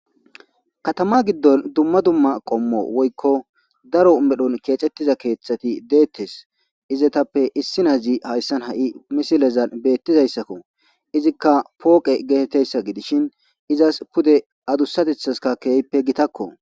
Katama giddon dumma dumma qommo woykko daro medhon keexettiza keeththati deettes. Izetappe issinnazi hayssan ha7i misilezan beettizayssakko. Izikka pooqe geetettiyayssa gidishin izas pude adussatethaska keehippe gitakko.